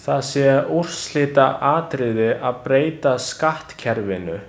Það sé úrslitaatriði að breyta skattkerfinu.